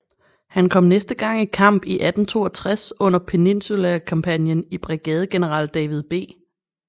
Han kom næste gang i kamp i 1862 under Peninsula kampagnen i brigadegeneral David B